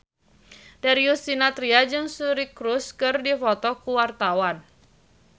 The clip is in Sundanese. Darius Sinathrya jeung Suri Cruise keur dipoto ku wartawan